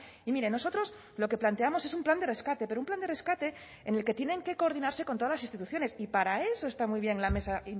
y mire nosotros lo que planteamos es un plan de rescate pero un plan de rescate en el que tienen que coordinarse con todas las instituciones y para eso está muy bien la mesa